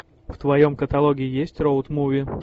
в твоем каталоге есть роуд муви